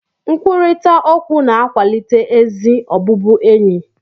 Nkwurịta okwu na-akwalite ezi ọbụbụenyi